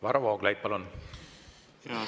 Varro Vooglaid, palun!